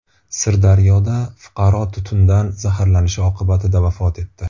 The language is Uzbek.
Sirdaryoda fuqaro tutundan zaharlanishi oqibatida vafot etdi.